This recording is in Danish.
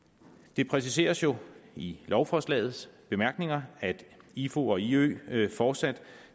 det præciseres jo i lovforslagets bemærkninger at ifu og iø fortsat